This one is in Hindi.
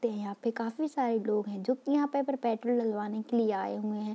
ते हैं यहाँ पे काफी सारे लोग हैं जो की यहाँ पे पेट्रोल डलवाने के लिए आए हुए हैं।